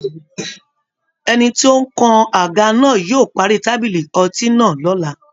Ẹni tí ó ń kan àga náà yóò parí tábìlì ọtí náà lọ́la